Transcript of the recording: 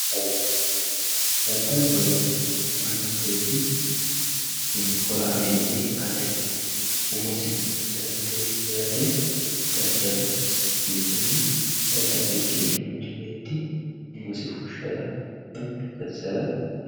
Dadaloho yaa manchi beeti horameye ikate umosi dandee herate dadalu jasiisano dadalikini manchi beeti umosi fushara woyi gatisara didandaano.